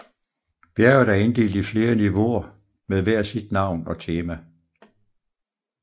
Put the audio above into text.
Bjerget er inddelt i flere niveauer med hver sit navn og tema